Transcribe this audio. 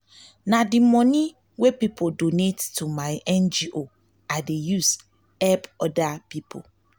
na di money wey pipo donate to my ngo i dey use help pipo.